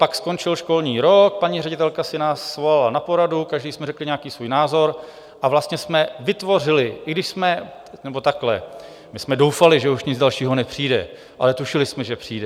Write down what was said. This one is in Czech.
Pak skončil školní rok, paní ředitelka si nás svolala na poradu, každý jsme řekli nějaký svůj názor, a vlastně jsme vytvořili, i když jsme... nebo takhle, my jsme doufali, že už nic dalšího nepřijde, ale tušili jsme, že přijde.